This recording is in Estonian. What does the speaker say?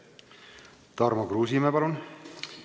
Tarmo Kruusimäe, palun!